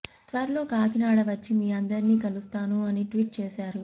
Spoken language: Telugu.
త్వరలో కాకినాడ వచ్చి మీ అందరినీ కలుస్తాను అని ట్వీట్ చేశారు